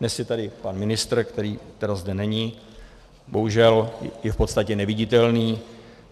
Dnes je tady pan ministr, který tedy zde není, bohužel je v podstatě neviditelný.